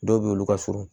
Dɔw be yen olu ka surun